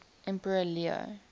emperor leo